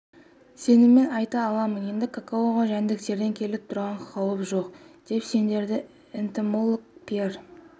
сеніммен айта аламын енді какаоға жәндіктерден келіп тұрған қауіп жоқ деп сендірді энтомолог пьер